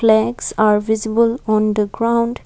flags are visible on the ground.